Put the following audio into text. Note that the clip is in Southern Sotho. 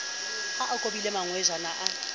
ha a kobile mangwejana a